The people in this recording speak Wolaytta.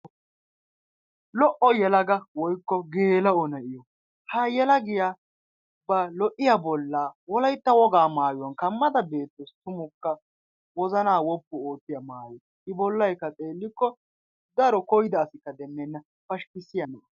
Lo''o yelaga woykko gela'o nayiyaa ha yelagiya ba lo''iaa bolla Wolaytta wogaa maayuwaan ba bolla kammada beettawus. tumukka wozana wippi oottiyaa maayo, I bollaykka xeelikko daro koyda asikka demmena pashkkiyaa maayo.